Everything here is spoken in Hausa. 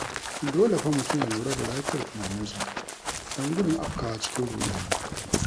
Dole fa mutum ya lura da lafiyar tunaninsa don gudun afkawa cikin ruɗani.